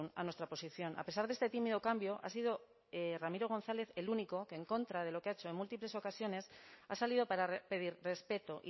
a nuestra posición a pesar de este tímido cambio ha sido ramiro gonzález el único que en contra de lo que ha hecho en múltiples ocasiones ha salido para pedir respeto